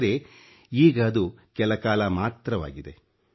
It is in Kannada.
ಆದರೆ ಈಗ ಅದು ಕೆಲ ಕಾಲ ಮಾತ್ರವಾಗಿದೆ